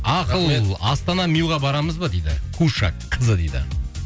ақыл астана мюға барамыз ба дейді куша кз дейді